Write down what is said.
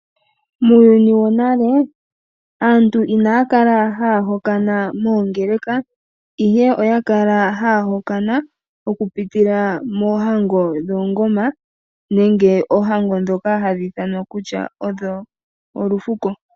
Muuyuni wonale aantu inaya kala haya hokana moongeleka, ihe oya kala haya hokana okupitila moohango dhoongoma nenge moohango ndhoka hadhi ithanwa kutya olufuko.